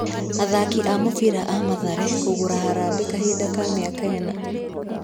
Athaki a mũbira a mathare kũgũra harambĩ kahinda ka mĩaka ĩna.